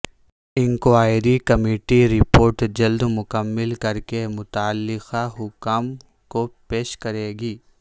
inquiry committee report جلد مکمل کرکے متعلقہ حکام کو پیش کرے گی